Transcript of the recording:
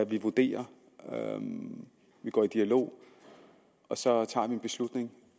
vi vurderer vi går i dialog og så tager vi en beslutning